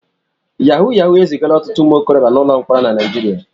Yahu Yahu ezigala ọtụtụ ụmụ okorobịa n'ụlọ mkpọrọ na Naịjirịa.